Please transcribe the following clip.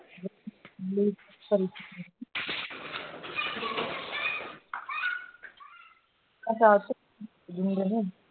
ਅਕਾਸ਼ ਮੇਰੇ ਨਾਂ